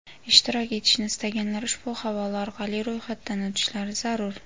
Ishtirok etishni istaganlar ushbu havola orqali ro‘yxatdan o‘tishlari zarur.